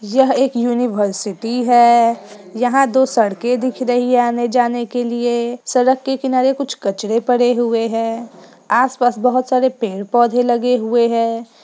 यह एक यूनिवर्सिटी है यहाँ दो सड़कें दिख रही है आने जाने के लिए| सड़क के किनारे कुछ कचड़े पड़े हुए हैं आस-पास बहुत सारे पेड़-पौधे लगे हुए हैं।